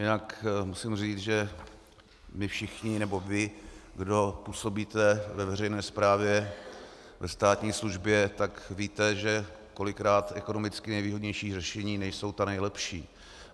Jinak musím říct, že my všichni, nebo vy, kdo působíte ve veřejné správě, ve státní službě, tak víte, že kolikrát ekonomicky nejvýhodnější řešení nejsou ta nejlepší.